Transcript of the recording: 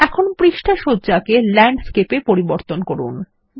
এখন পৃষ্ঠা সজ্জাকে ল্যান্ডস্কেপ এ পরিবর্তন করুন